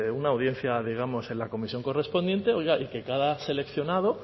una audiencia digamos en la comisión correspondiente oiga y que cada seleccionado